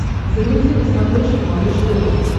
загрузи на смотрешке малыш тв